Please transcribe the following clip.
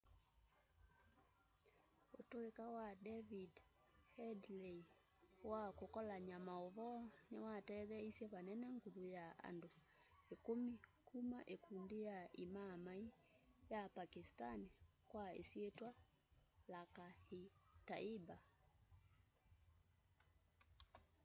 utuika wa david headley wa kukolany'a mauvoo niwatetheeisye vanene nguthu ya andu ikumi kuma ikundi ya imaaamai ya pakistani kwa isyitwa lakhar-e-taiba